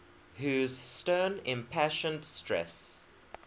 whose stern impassioned stress